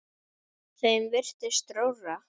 Þeim virtist rórra.